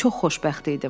Çox xoşbəxt idim.